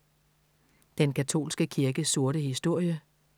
Den katolske kirkes sorte historie